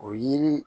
O yiri